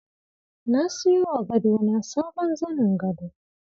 Na siyowa gadona sabon zanin gado.